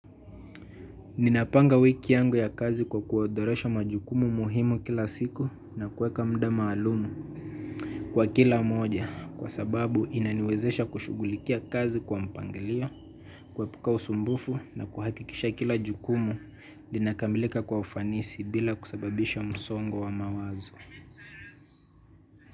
Ninapanga wiki yangu ya kazi kwa kuodhoresha majukumu muhimu kila siku na kuweka mda maalumu kwa kila moja kwa sababu inaniwezesha kushughulikia kazi kwa mpangilio, kuepuka usumbufu na kuhakikisha kila jukumu linakamilika kwa ufanisi bila kusababisha msongo wa mawazo.